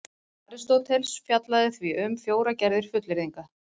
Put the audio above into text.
Aristóteles fjallaði því um fjórar gerðir fullyrðinga: